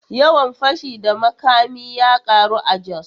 Yawan fashi da makami ya karu a Jos.